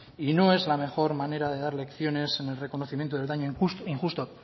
y no es la mejor manera de dar lecciones en el reconocimiento del daño injusto